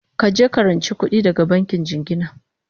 kaje ka ranci kuɗi daga bankin jingina!